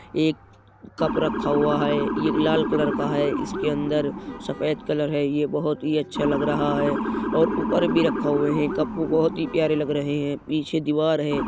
एक कप रखा हुआ है। ये लाल कलर का है। इसके अंदर सफेद कलर है। ये बोहोत ही अच्छा लग रहा है और भी उअर रखा हुए हैं। कप बोहोत ही प्यारे लग रहे हैं। पीछे दीवार है।